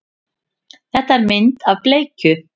Þetta er mynd af bleikju.